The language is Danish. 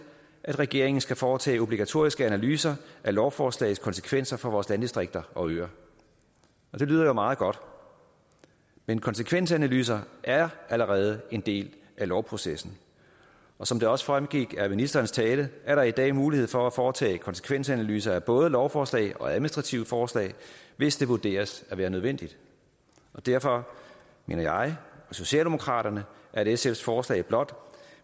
at regeringen skal foretage obligatoriske analyser af lovforslagets konsekvenser for vores landdistrikter og øer det lyder jo meget godt men konsekvensanalyser er allerede en del af lovprocessen som det også fremgik af ministerens tale er der i dag mulighed for at foretage konsekvensanalyser af både lovforslag og administrative forslag hvis det vurderes at være nødvendigt derfor mener jeg og socialdemokraterne at sfs forslag blot